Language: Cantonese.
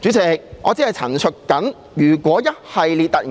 主席，我只是陳述，如果這星期與我們